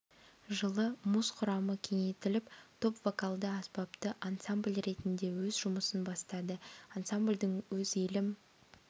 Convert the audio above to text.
жылы муз құрамы кеңейтіліп топ вокалды аспапты ансамбль ретінде өз жұмысын бастады ансамбльдің өз елім